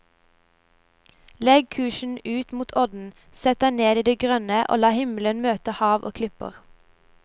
Legg kursen ut mot odden, sett deg ned i det grønne og la himmel møte hav og klipper.